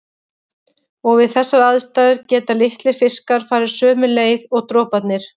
Og við þessar aðstæður geta litlir fiskar farið sömu leið og droparnir.